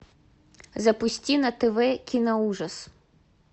запусти на тв кино ужас